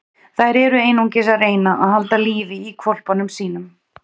Þær eru einungis að reyna að halda lífi í hvolpunum sínum.